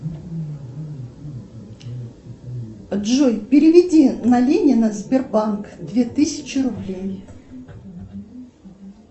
джой переведи на ленина сбербанк две тысячи рублей